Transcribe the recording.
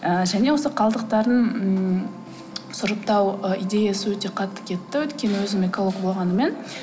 ыыы және осы қалдықтарын ммм сұрыптау ы идеясы өте қатты кетті өйткені өзім эколог болғаныммен